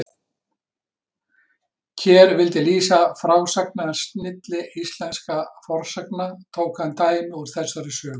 Ker vildi lýsa frásagnarsnilli íslenskra fornsagna, tók hann dæmi úr þessari sögu.